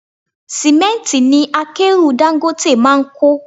Símẹ́ntì ni akẹ́rù Dangote máa ń kó.